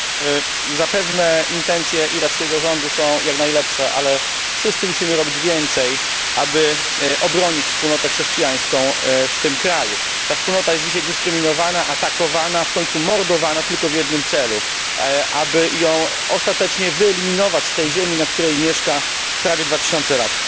Pani Przewodnicząca! Zapewne intencje irackiego rządu są jak najlepsze, ale wszyscy musimy robić więcej, aby obronić wspólnotę chrześcijańską w tym kraju. Ta wspólnota jest dzisiaj dyskryminowana, atakowana, w końcu mordowana tylko w jednym celu aby ją ostatecznie wyeliminować z tej ziemi, na której mieszka prawie dwa tysiące lat.